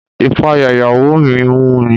Ìpayà ìyàwó mi mú mi.